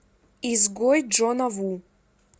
изгой джона ву